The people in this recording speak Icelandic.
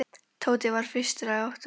Tóti var fyrstur að átta sig.